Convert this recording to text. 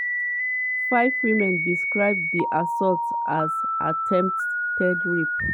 five women describe di assaults as attempted rape.